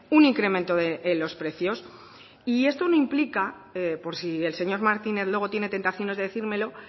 un incremento de los precios y esto no implica por si el señor martínez luego tiene tentaciones de decírmelo